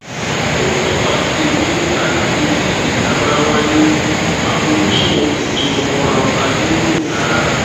ó tọka sí pé àyàfi tí ìjà bá wáyé àfojúsùn ètò ọrọ ajé yóò dára